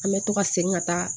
An bɛ to ka segin ka taa